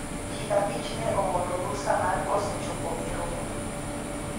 jii abich ne ooro rusa mar koso chopo e romo